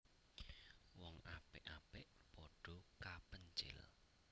Wong apik apik padha kapencil